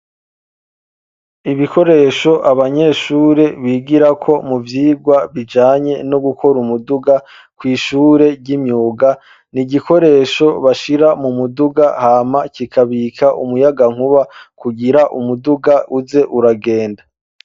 Ibikoresho abanyeshure bigirako mu vyigwa bijanye no gukora umuduga, kw'ishure ry'imyug, ni igikoresho bashira mu muduga hama kikabika umuyagankuba kugira umuduga uze uragenda.